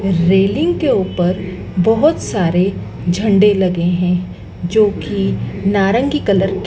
railing के ऊपर बहोत सारे झंडे लगे हैं जोकी नारंगी रंग के--